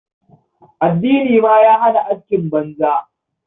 Addini ma ya hana askin banza.